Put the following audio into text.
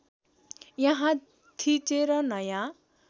यहाँ थिचेर नयाँ